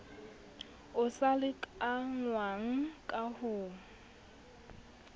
o sa lekanngwang ka ho